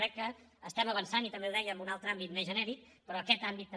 crec que avancem i també ho deia en un altre àmbit més genèric però en aquest àmbit també